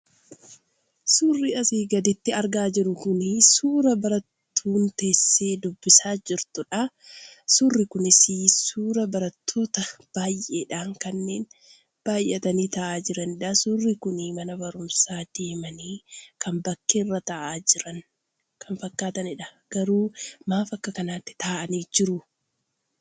Suurri asii gaditti argaa jirru kun suuraa barattuun teessee dubbisaa jirtuudha. Suurri kunis suuraa barattoota baay'eedhaan kanneen baay'atanii taa'aa jiraniidha. Suuraan kun kan mana barumsaa deemanii kan bakkeerra taa'aa jiran fakkaataniidha. Maaliif akka kanaatti taa'anii jiru?